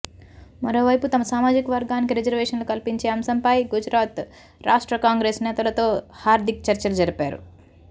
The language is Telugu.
మరోవైపు తమ సామాజికవర్గానికి రిజర్వేషన్లు కల్పించే అంశంపై గుజరాత్ రాష్ట్ర కాంగ్రెస్ నేతలతో హార్దిక్ చర్చలు జరిపారు